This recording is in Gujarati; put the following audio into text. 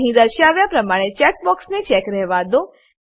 અહીં દર્શાવ્યા પ્રમાણે ચેકબોક્સને ચેક રહેવા દો